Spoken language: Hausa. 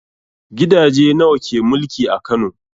Gidaje nawa ke mulki a Kano?